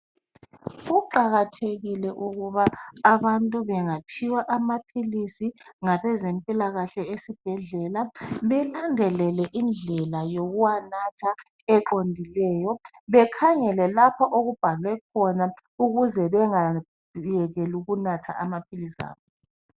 Kuqakathekile ukuba abantu bengaphiwa amaphilisi ngabezempilakahle esibhedlela belandelele indlela yokuwanatha eqondileyo, bekhangele lapho okubhalwe khona ukuze bengayekeli ukunatha amaphilisi abo.